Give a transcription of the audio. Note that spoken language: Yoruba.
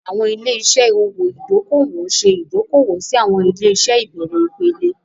Àwọn ilé-iṣẹ́ owó ìdókòwò ń ṣe ìdókòwò sí àwọn ilé-iṣẹ́ ìbẹ̀rẹ̀ ìpele.